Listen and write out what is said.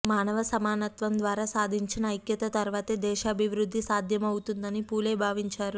మానవ సమానత్వం ద్వారా సాధించిన ఐక్యత తర్వాతే దేశాభివృద్ధి సాధ్యమవ్ఞతుందని పూలే భావించారు